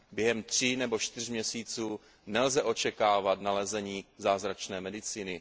Během tří nebo čtyř měsíců nelze očekávat nalezení zázračné medicíny.